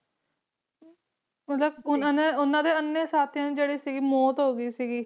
ਮਤਲਬ ਓਹਨਾ ਨੇ ਓਹਨਾ ਦੇ ਇੰਨੇ ਸਾਥੀਆਂ ਦੀ ਜਿਹੜੀ ਸੀ ਮੌਤ ਹੋ ਗਈ ਸੀਗੀ ਸੀਗੀ ਹਾਂ ਬਿਲਕੁਲ